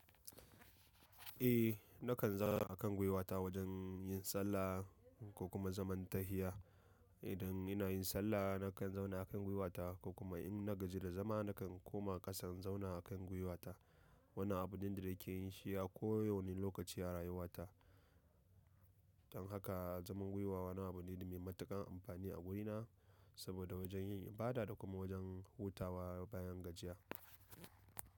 Eh nakan zauna a kan gwiwata wajen yin sallah ko kuma zaman tahiya. Idan ina yin sallah nakan zauna a kan gwiwata ko kuma in na gaji da zama nakan koma ƙasa in zauna a kan gwiwata. Wannan abune da nake yin shi a kowanne lokaci a rayuwata. Don haka zaman gwiwa wani abu ne da mai matuƙan amfani a wurina saboda wajen yin ibada da kuma wajen hutawa bayan gajiya.